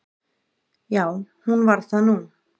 Já, hún varð það nú.